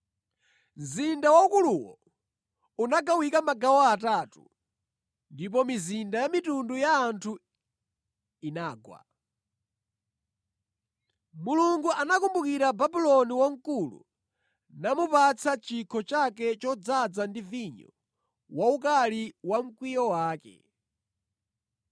Mzinda waukuluwo unagawika magawo atatu ndipo mizinda ya mitundu ya anthu inagwa. Mulungu anakumbukira Babuloni Wamkulu namupatsa chikho chake chodzaza ndi vinyo wa ukali wa mkwiyo wake.